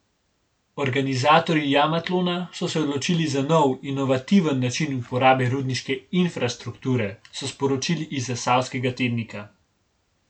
Organizatorji Jamatlona so se odločili za nov, inovativen način uporabe rudniške infrastrukture, so sporočili iz Zasavskega tednika.